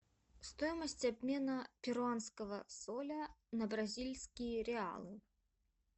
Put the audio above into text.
стоимость обмена перуанского соля на бразильские реалы